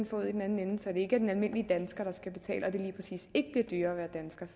får ud i den anden ende så det ikke er den almindelige dansker der skal betale